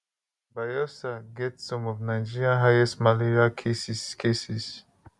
bayelsa get some of nigeria highest malaria cases cases